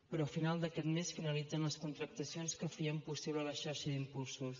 però a final d’aquest mes finalitzen les contractacions que feien possible la xarxa d’impulsors